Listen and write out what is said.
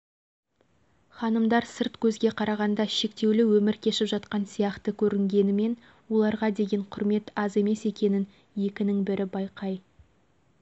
мәселен ханымдар көшедегі ағылған көліктің ортасынан жолды кез-келген жерден кесіп өте береді